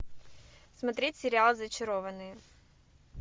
смотреть сериал зачарованные